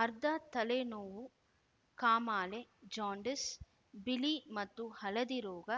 ಅರ್ಧ ತಲೆ ನೋವು ಕಾಮಾಲೆಜಾಂಡೀಸ್‌ ಬಿಳಿ ಮತ್ತು ಹಳದಿ ರೋಗ